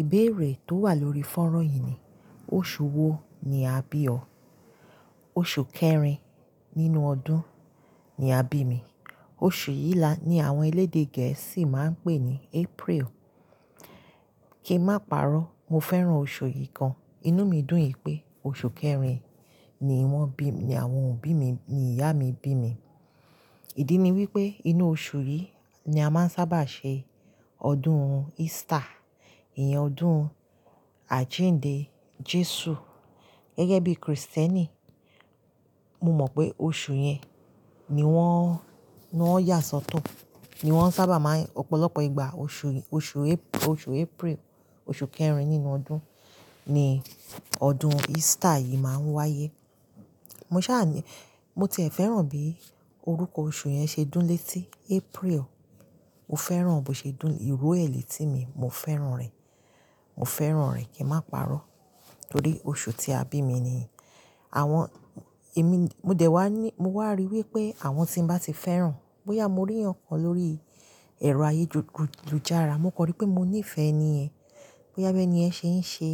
Ìbéèrè tó wà lórí fónrán yìí ni, oṣù wo ni a bí ọ? Oṣù kẹrin nínú ọdún ni a bí mi. Oṣù yìí ní àwọn elédè gẹ̀ẹ́sì máa ń pè ní April. Kí n máa parọ́, mo fẹ́ràn oṣù yìí gan. Inú mi dùn yìí pé oṣù kẹrin ni wọ́n bí mi, àwọn òbí mi, ni ìyá mi bí mi. Ìdí ni wípé inú oṣù yìí ni a máa ń sábà ṣe ọdún Easter, ìyẹn ọdún àjíǹde Jésù. Gẹ́gẹ́ bí Kristẹni, mo mọ̀ pé oṣù yẹn ni wọ́n, ni wọ́n yàsọ́tọ́, ni wọ́n sábà máa ń-- ọ̀pọ̀lọpọ̀ ìgbà oṣù yìí, oṣù Ap-, oṣù April, oṣù kẹrin nínú ọdún ni ọdún Easter yìí máa ń wáyé. Mo ṣàní-- mo ti ẹ̀ fẹ́ràn bí orúkọ oṣù yẹn ṣe dún létí April. Mo fẹ́ràn bó ṣe dún, ìró ẹ̀ lẹ̀tí mi, mo fẹ́ràn rẹ̀. Mo fẹ́ràn rẹ̀ kí n máa parọ́ torí oṣù tí a bí mi ni. Àwọn, èmi, mo dẹ̀ wá ní, mo wá rí i wípé àwọn tí n bá ti fẹ́ràn, bóyá mo rí ẹnìkan lórí ẹ̀rọ ayélujára, mo kọ̀ orí pé mo níìfẹ̀ẹ́ ni ẹ. Bóyá bi eni yen ṣe ń ṣe.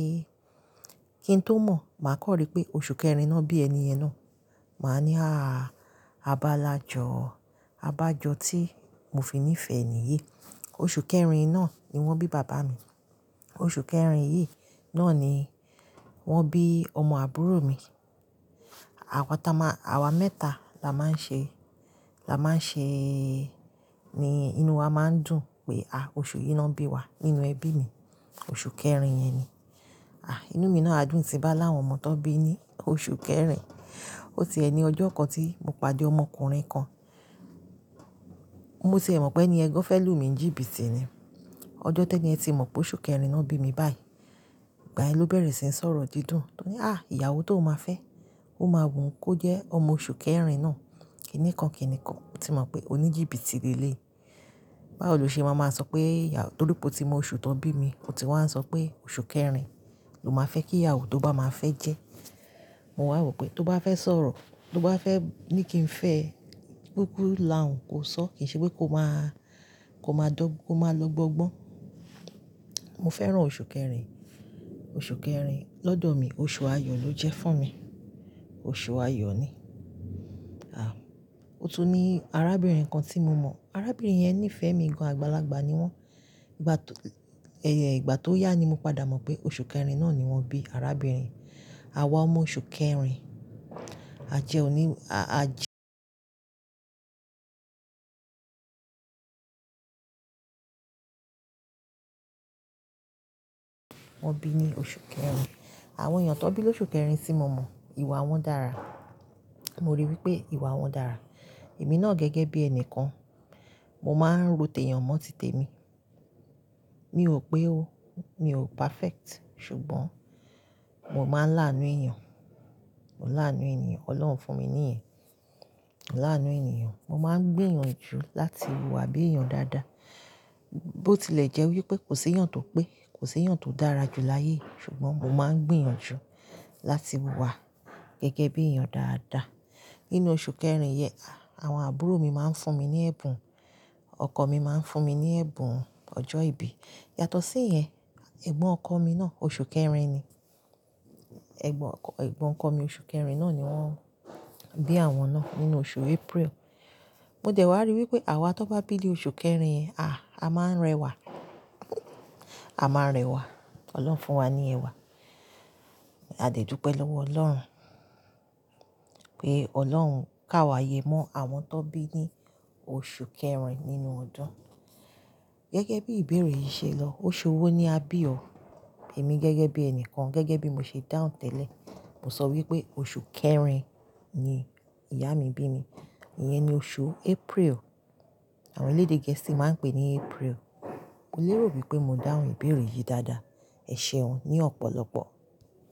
Kí n tó mọ̀, màá kọ̀ orí pé oṣù kẹrin ná bí ẹni yẹn ná. Màá ní, "àáà, abalájọ, abájọ tí mo fi níìfẹ̀ẹ́ enì yí." Oṣù kẹrin náà ni wọ́n bí bàbá mi. Oṣù kẹrin yìí náà ni wọ́n bí ọmọ àbúrò mi. Àwa ta máa, àwa mẹ́ta la máa ń ṣe, la máa ń ṣe, ni inú wa máa ń dùn pé, à, oṣù yìí ná bí wa nínú ẹbí mi. Oṣù kẹrin yẹn ni. À, inú mi náà dùn tì bá láwọn ọmọ tó bí ní oṣù kẹrin. Ó ti ẹ ni ọjọ́ kan tí mo pàdé ọmọkùnrin kan, mo ti ẹ̀ mọ̀ pé eni yen gan fẹ́ lù mí ń jìbìtì ni. Ọjọ́ tó ní ẹ́ ti mọ̀ pé oṣù kẹrin ná bí mi báyìí, ìgbà ẹ ló bẹ̀rẹ̀ sí ń sọ̀rọ̀ dídùn tó ní, "à, ìyàwó tó o máa fẹ́, ó máa wùn kó jẹ́ ọmọ oṣù kẹrin ná." Kìní kan kìní kan, mo ti mọ̀ pé ó ní jìbìtì léleyi. Báwò lo ṣe máa máa sọ pé torí pé ó ti mọ oṣù tó bí mi, ó ti wá ń sọ pé oṣù kẹrin ló máa fẹ́ kí ìyàwó tó bá máa fẹ́ jẹ́. Mo wà wò pé tó bá fẹ́ sọ̀rọ̀, tó bá fẹ́ ní kí n fẹ́, gbógbo là ń kò sọ, kìí ṣe pé kó máa, kó máa dọ́, kó máa lo ogbọ́ngbọ́n. Mo fẹ́ràn oṣù kẹrin. Oṣù kẹrin lọ́dọ̀ mi, oṣù ayọ̀ ló jẹ́ fún mi. Oṣù ayọ̀ ni. À, ó tún ní arábìnrin kan tí mo mọ̀. Arábìnrin yẹn níìfẹ̀ẹ́ mi gan, àgbàlagbà ni wọ́n. Ìgbà tó yá ni mo padà mọ̀ pé oṣù kẹrin náà ni wọ́n bí arábìnrin. Àwa ọmọ oṣù kẹrin, àjẹ́ òní, a, àjẹ́ Wọ́n bí ní oṣù kẹrin. Àwọn èèyàn tó bí lóṣù kẹrin tí mo mọ̀, ìwà wọn dára. Mo rí i wípé ìwà wọn dára. Èmi náà gẹ́gẹ́ bí ẹni kan, mo máa ń ròti èèyàn mọ́ titẹ mi. Mi ò pé ó, mi ò perfect, ṣùgbọ́n mo máa ń láànú èèyàn. Mo láànú ènìyàn, Ọlọ́run fún mi ní yen. Mo láànú ènìyàn, mo máa ń gbìyànjú láti wùwà bí èèyàn dáadáa. Bó ti lè jẹ́ wípé kò ṣe èèyàn tó pé, kò ṣe èèyàn tó dára jù láyé, ṣùgbọ́n mo máa ń gbìyànjú láti wùwà gẹ́gẹ́ bí èèyàn dáadáa. Nínú oṣù kẹrin yẹn, à, àwọn àbúrò mi máa ń fún mi ní ẹ̀bùn. Ọkọ mi máa ń fún mi ní ẹ̀bùn ọjọ́ ìbí. Yàtọ̀ sí ìyẹn, ẹ̀gbọ́n ọkọ mi náà oṣù kẹrin ni. Ẹ̀gbọ́n ọkọ, ẹ̀gbọ́n ọkọ mi oṣù kẹrin náà ni wọ́n bí àwọn náà nínú oṣù April. Mo dẹ̀ wá rí i wípé àwa tó bá bí ní oṣù kẹrin, à, a máa ń rẹwà. A máa ń rẹwà. Ọlọ́run fún wa ní ẹwà. A dẹ̀ dúpẹ́ lọ́wọ́ Ọlọ́run pé Ọlọ́run kà wá yẹ́ mọ́ àwọn tó bí ní oṣù kẹrin nínú ọdún. Gẹ́gẹ́ bí ìbéèrè yìí ṣe lọ, oṣù wo ni a bí ọ? Èmi gẹ́gẹ́ bí ẹni kan, gẹ́gẹ́ bí mo ṣe dáhùn tẹ́lẹ̀, mo sọ wípé oṣù kẹrin ni ìyá mi bí mi. Ìyẹn ni oṣù April. Àwọn elédè gẹ̀ẹ́sì máa ń pè ní April. Mo lérò wípé mo dáhùn ìbéèrè yìí dáadáa. Ẹ ṣeun ní ọ̀pọ̀lọpọ̀.